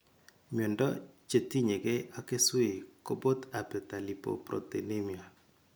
Miondo chetinyekei ak keswek kobot abetalipoproteinemia